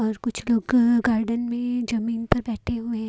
और कुछ लोग का गार्डन में जमीन पर बैठे हुए हैं।